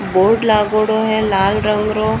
बोर्ड़ लागेडो है लाल रंग रो।